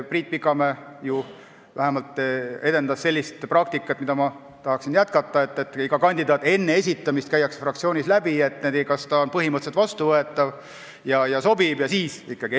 Priit Pikamäe vähemalt edendas sellist praktikat, mida ma tahaksin jätkata, et iga kandidaat käib juba enne esitamist fraktsioonist läbi, kus otsustatakse, kas ta on põhimõtteliselt vastuvõetav ja sobiv, ning alles siis teda esitatakse.